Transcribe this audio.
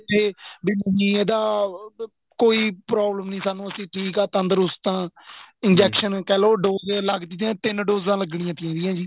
ਜੇ ਨਹੀਂ ਇਹਦਾ ਕੋਈ problem ਨਹੀਂ ਸਾਨੂੰ ਅਸੀਂ ਠੀਕ ਆਂ ਤੰਦਰੁਸਤ ਹਾਂ injections ਕਹਿਲੋ ਦੋ ਡੋਜਾਂ ਲੱਗਦੀਆਂ ਏ ਤਿੰਨ ਡੋਜਾਂ ਲੱਗਣੀਆਂ ਚਾਹੀਦੀਆਂ ਏ ਜੀ